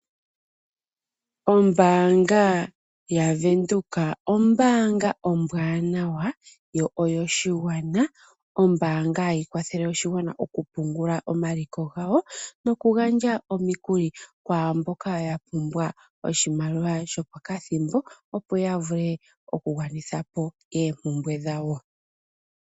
Ombanga ya Venduka , ombanga ombwanawa yo oyo shigwana , oombanga hayi kwathele oshigwana okupungula omaliko gawo nokugandja omikuli kwaamboka yapumbwa oshimaliwa shopokathimbo opo ya vule okugwanitha po oompumbwe dhawo.